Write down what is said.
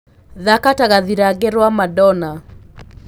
thaka ta gathirange rwa madonna